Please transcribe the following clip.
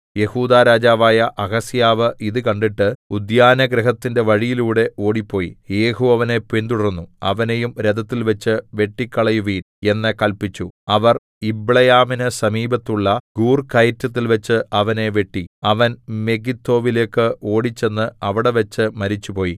യെഹൂദാ രാജാവായ അഹസ്യാവ് ഇതു കണ്ടിട്ട് ഉദ്യാനഗൃഹത്തിന്റെ വഴിയിലൂടെ ഓടിപ്പോയി യേഹൂ അവനെ പിന്തുടർന്നു അവനെയും രഥത്തിൽവെച്ച് വെട്ടിക്കളയുവിൻ എന്ന് കല്പിച്ചു അവർ യിബ്ളെയാമിന് സമീപത്തുള്ള ഗൂർകയറ്റത്തിൽവെച്ച് അവനെ വെട്ടി അവൻ മെഗിദ്ദോവിലേക്ക് ഓടിച്ചെന്ന് അവിടെവച്ച് മരിച്ചുപോയി